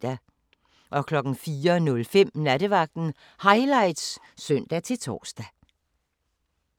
04:05: Nattevagten Highlights (søn-tor)